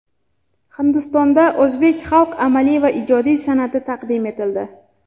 Hindistonda o‘zbek xalq amaliy va ijodiy san’ati taqdim etildi .